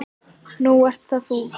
Nú ert það þú.